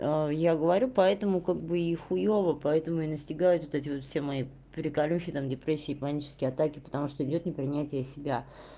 я говорю поэтому как бы и хуёво поэтому и настигают вот эти вот все мои приколюхи там депрессия и панические атаки потому что идёт непринятие себя